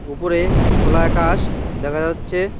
ওপরে খোলা আকাশ দেখা যাচ্ছে